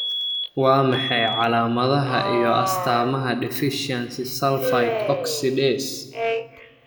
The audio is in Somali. Waa maxay calaamadaha iyo astaamaha deficiency Sulfite oxidase?